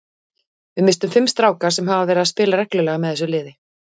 Við misstum fimm stráka sem hafa verið að spila reglulega með þessu liði.